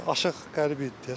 Aşıq Qərib idi deyəsən.